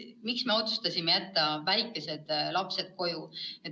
Miks me otsustasime jätta ka väikesed lapsed koju?